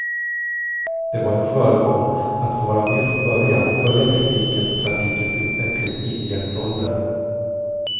Det var en förmån att få vara med från början och följa teknikens och trafikens utveckling in i jetåldern.